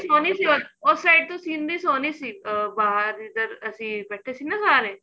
ਸੋਹਣੀ ਸੀ ਉਸ side ਤੋਂ ਸੀਨਰੀ ਸੋਹਣੀ ਸੀ ਅਹ ਬਾਹਰ ਇੱਧਰ ਅਸੀਂ ਬੈਠੇ ਦੀ ਨਾ ਸਾਰੇ